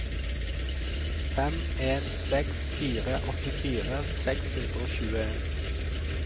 fem en seks fire åttifire seks hundre og tjueen